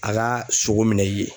A ka sogo minɛn i ye.